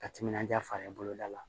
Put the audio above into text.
Ka timinanja fara boloda la